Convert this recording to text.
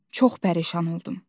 Çox pərişan oldum.